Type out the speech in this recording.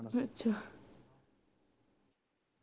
ਅੱਛਾ